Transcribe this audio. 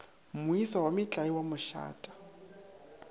moisa wa metlae wa mašata